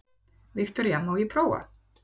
Viktoría: Má ég prófa?